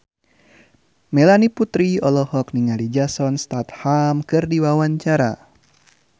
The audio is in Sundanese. Melanie Putri olohok ningali Jason Statham keur diwawancara